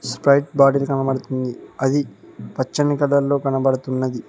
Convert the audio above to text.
Sprite bottle కనబడుతుంది అది పచ్చని కలర్ లో కనబడుతున్నది.